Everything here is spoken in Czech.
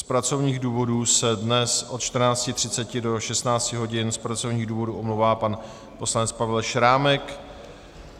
Z pracovních důvodů se dnes od 14.30 do 16 hodin z pracovních důvodů omlouvá pan poslanec Pavel Šrámek.